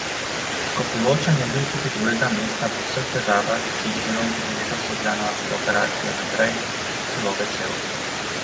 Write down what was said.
Škofjeločan je bil tudi drugega mesta po vseh težavah, ki jih je imel letos od januarske operacije naprej, zelo vesel.